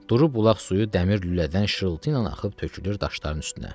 Durub bulaq suyu dəmir lülədən şırıltıynan axıb tökülür daşların üstünə.